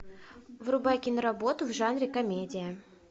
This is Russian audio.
врубай киноработу в жанре комедия